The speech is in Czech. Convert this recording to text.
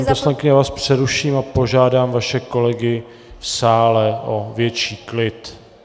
Paní poslankyně, já vás přeruším a požádám vaše kolegy v sále o větší klid.